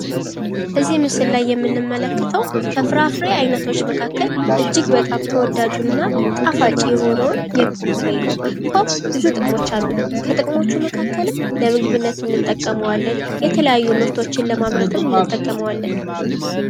እዚህ ምስል ላይ የምንመለከተው ከፍራፍሬ አይነቶች መካከል እጅግ በጣም ተወዳጁ እና ጣፋጭ የሆነውን የፖም ፍሬ ነው። ፖም ብዙ ጥቅሞች አሉት። ከጥቅሞቹ መካከልም ለምግብነት እንጠቀመዋለን። የተለያዩ ምርቶችን ለማምረትም እንጠቀመዋለን።